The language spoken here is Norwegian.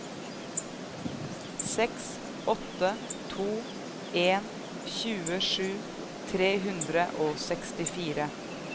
seks åtte to en tjuesju tre hundre og sekstifire